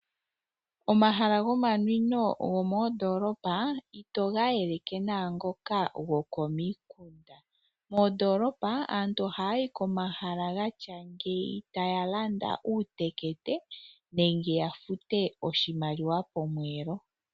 Omahala go manwino go moondoolopa ito ga yeleke naangoka go komikunda . Moondoolopa aantu oha yayi komahala gatya ngeyi taya landa uutekete nenge ya fute oshimaliwa pomweelo.